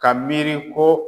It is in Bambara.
Ka miiri ko